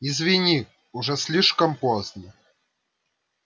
извини уже слишком поздно